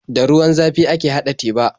Da ruwan zafi ake haɗa teba.